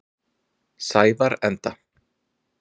Sævarenda